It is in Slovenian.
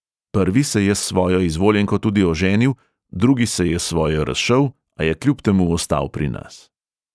Prvi se je s svojo izvoljenko tudi oženil, drugi se je s svojo razšel, a je kljub temu ostal pri nas.